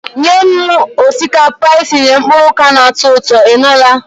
Nye m osikapa etinyere mkpụrụ oka na-atọ ụtọ, ị nụla?